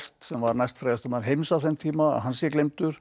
sem var næstfrægasti maður heims á þeim tíma að hann sé gleymdur